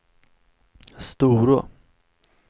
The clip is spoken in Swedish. Storå